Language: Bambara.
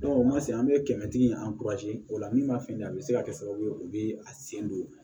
o ma se an bɛ kɛmɛtigi o la min ma fɛn ye a bɛ se ka kɛ sababu ye u bɛ sen don